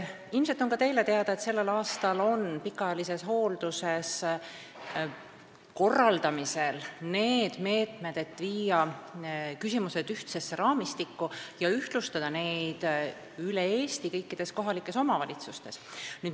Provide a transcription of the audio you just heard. Ilmselt on ka teile teada, et sellel aastal on pikaajalises hoolduses korraldamisel need meetmed, millega viia need küsimused ühtsesse raamistikku ja ühtlustada üle Eesti kõikides kohalikes omavalitsustes.